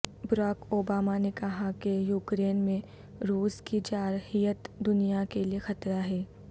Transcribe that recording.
Barack Obama نے کہا کہ یوکرین میں روس کی جارحیت دنیا کے لیے خطرہ ہے